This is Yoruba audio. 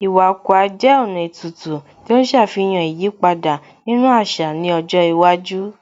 Iwa Akwa jẹ́ ọ̀nà ètùtù tí ó ń ṣàfihàn ìyípadà nínú àṣà ní ọjọ́ iwájú